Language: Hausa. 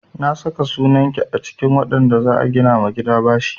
Na saka sunan ki a cikin waɗanda za a gina ma gida bashi.